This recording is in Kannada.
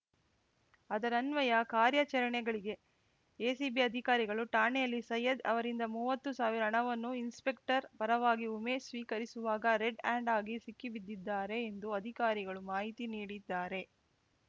ಅದರನ್ವಯ ಕಾರ್ಯಾಚರಣೆಗಳಿಗೆ ಎಸಿಬಿ ಅಧಿಕಾರಿಗಳು ಠಾಣೆಯಲ್ಲಿ ಸೈಯದ್‌ ಅವರಿಂದ ಮೂವತ್ತು ಸಾವಿರ ಹಣವನ್ನು ಇನ್ಸ್‌ಪೆಕ್ಟರ್‌ ಪರವಾಗಿ ಉಮೇಶ್‌ ಸ್ವೀಕರಿಸುವಾಗ ರೆಡ್‌ ಹ್ಯಾಂಡ್‌ ಆಗಿ ಸಿಕ್ಕಿಬಿದ್ದಿದ್ದಾರೆ ಎಂದು ಅಧಿಕಾರಿಗಳು ಮಾಹಿತಿ ನೀಡಿದ್ದಾರೆ